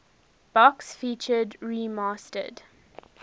box featured remastered